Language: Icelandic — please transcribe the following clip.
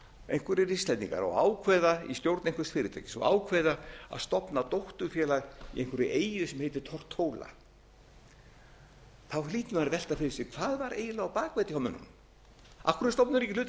einhverjir íslendingar og ákveða í stjórn einhvers fyrirtækis og ákveða að stofna dótturfélag á einhverri eyju sem heitir tortóla hlýtur maður að velta fyrir sér hvað var eiginlega á bak við þetta hjá